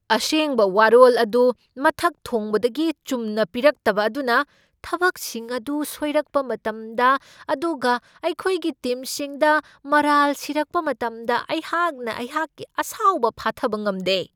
ꯑꯁꯦꯡꯕ ꯋꯥꯔꯣꯜ ꯑꯗꯨ ꯃꯊꯛ ꯊꯣꯡꯕꯗꯒꯤ ꯆꯨꯝꯅ ꯄꯤꯔꯛꯇꯕ ꯑꯗꯨꯅ ꯊꯕꯛꯁꯤꯡ ꯑꯗꯨ ꯁꯣꯏꯔꯛꯄ ꯃꯇꯝꯗ ꯑꯗꯨꯒ ꯑꯩꯈꯣꯏꯒꯤ ꯇꯤꯝꯁꯤꯡꯗ ꯃꯔꯥꯜ ꯁꯤꯔꯛꯄ ꯃꯇꯝꯗ ꯑꯩꯍꯥꯛꯅ ꯑꯩꯍꯥꯛꯀꯤ ꯑꯁꯥꯎꯕ ꯐꯥꯊꯕ ꯉꯝꯗꯦ ꯫